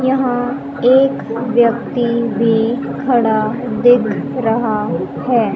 यहां एक व्यक्ति भी खड़ा दिख रहा है।